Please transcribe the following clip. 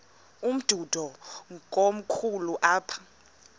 umdudo komkhulu apha